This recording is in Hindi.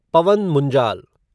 पवन मुंजाल